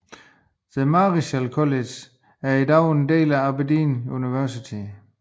The Marischal College er i dag en del af Aberdeen Universitet